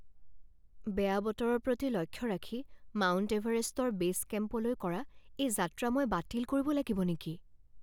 বেয়া বতৰৰ প্ৰতি লক্ষ্য ৰাখি মাউণ্ট এভাৰেষ্টৰ বেছ কেম্পলৈ কৰা এই যাত্ৰা মই বাতিল কৰিব লাগিব নেকি?